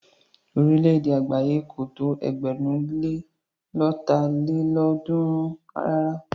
Orílẹ̀-èdè àgbáyé kò tó ẹgbẹ̀rún lé lọ́ta lélọ́ọ̀dúnrún rárá.